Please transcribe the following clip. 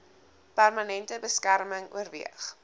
permanente beskerming oorweeg